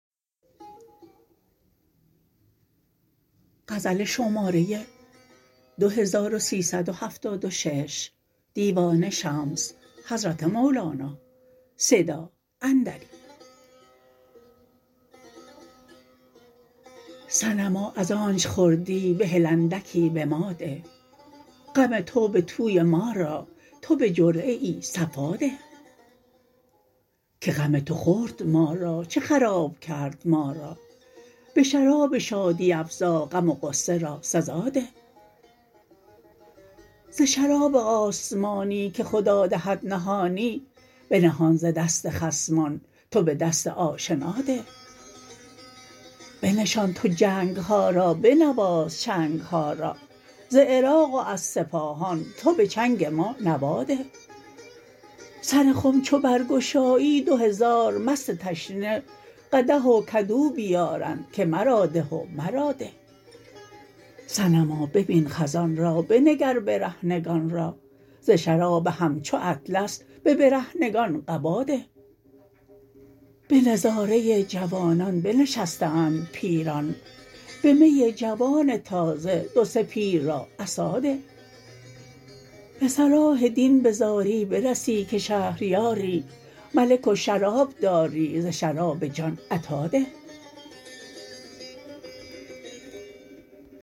صنما از آنچ خوردی بهل اندکی به ما ده غم تو به توی ما را تو به جرعه ای صفا ده که غم تو خورد ما را چه خراب کرد ما را به شراب شادی افزا غم و غصه را سزا ده ز شراب آسمانی که خدا دهد نهانی بنهان ز دست خصمان تو به دست آشنا ده بنشان تو جنگ ها را بنواز چنگ ها را ز عراق و از سپاهان تو به چنگ ما نوا ده سر خم چو برگشایی دو هزار مست تشنه قدح و کدو بیارند که مرا ده و مرا ده صنما ببین خزان را بنگر برهنگان را ز شراب همچو اطلس به برهنگان قبا ده به نظاره جوانان بنشسته اند پیران به می جوان تازه دو سه پیر را عصا ده به صلاح دین به زاری برسی که شهریاری ملک و شراب داری ز شراب جان عطا ده